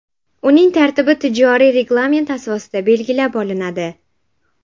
Uning tartibi tijoriy reglament asosida belgilab olinadi.